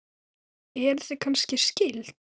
Eruð þið kannski skyld?